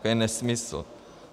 To je nesmysl.